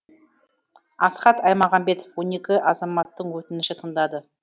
асхат аймағамбетов он екі азаматтың өтінішін тыңдады